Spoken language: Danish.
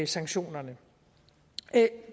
sanktionerne